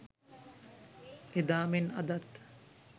එදා මෙන් අදත්